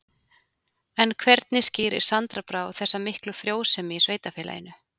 En hvernig skýrir Sandra Brá þessa miklu frjósemi í sveitarfélaginu?